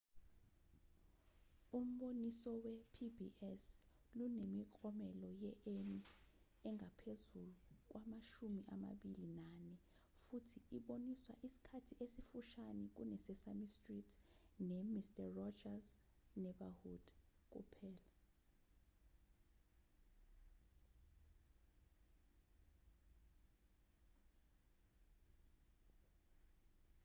umboniso we-pbs lunemiklomelo ye-emmy engaphezu kwamashumi amabili nane futhi iboniswa isikhathi esifushane kune-sesame street nemister rogers's neighborhood kuphela